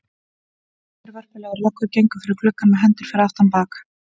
Tvær vörpulegar löggur gengu fyrir gluggann með hendur fyrir aftan bak.